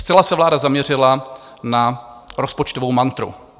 Zcela se vláda zaměřila na rozpočtovou mantru.